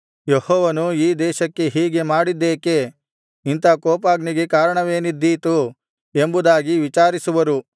ಯೆಹೋವನು ಈ ದೇಶಕ್ಕೆ ಹೀಗೆ ಮಾಡಿದ್ದೇಕೆ ಇಂಥ ಕೋಪಾಗ್ನಿಗೆ ಕಾರಣವೇನಿದ್ದೀತು ಎಂಬುದಾಗಿ ವಿಚಾರಿಸುವರು